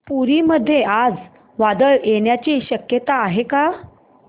पुरी मध्ये आज वादळ येण्याची शक्यता आहे का